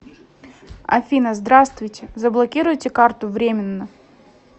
афина здраствуйте заблокируйте карту временно